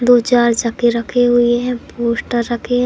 दो चार चक्के रखे हुए हैं पोस्टर रखें हैं।